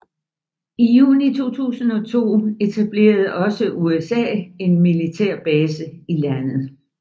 I juni 2002 etablerede også USA en militær base i landet